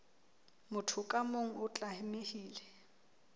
motho ka mong o tlamehile